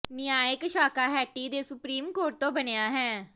ਨਿਆਇਕ ਸ਼ਾਖਾ ਹੈਟੀ ਦੇ supreme court ਤੋਂ ਬਣਿਆ ਹੈ